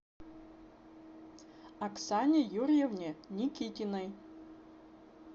оксане юрьевне никитиной